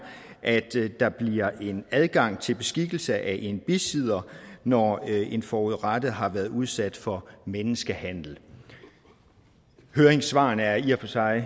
at der bliver adgang til beskikkelse af en bisidder når en forurettet har været udsat for menneskehandel høringssvarene er i og for sig